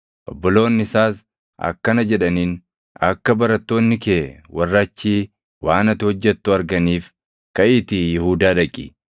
Obboloonni isaas akkana jedhaniin; “Akka barattoonni kee warri achii waan ati hojjettu arganiif kaʼiitii Yihuudaa dhaqi.